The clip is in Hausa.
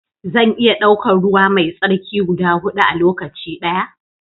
Zan iya daukar ruwa mai tsarki guda hudu a lokaci daya?